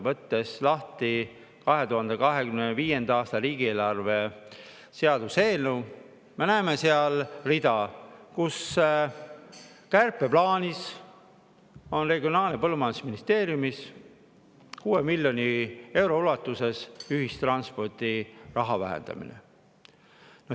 Võttes lahti 2025. aasta riigieelarve seaduse eelnõu, me näeme seal kärpeplaanis rida, mis näeb Regionaal‑ ja Põllumajandusministeeriumis ette 6 miljoni euro ulatuses ühistranspordiraha vähendamist.